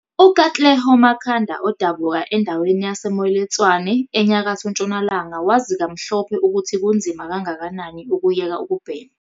UKatlego Makhanda odabuka endaweni yase-Moiletswane eNyakatho Ntshonalanga wazi kamhlophe ukuthi kunzima kangakanani ukuyeka ukubhema.